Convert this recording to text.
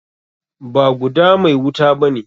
Ba guda mai wuta bane.